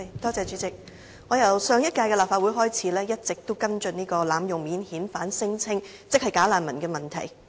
我自上屆立法會一直跟進濫用免遣返聲請，即"假難民"的問題。